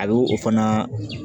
A bɛ o fana